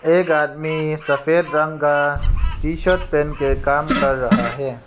एक आदमी सफेद रंग का टी शर्ट पहन के काम कर रहा है।